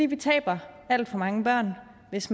vi taber alt for mange børn hvis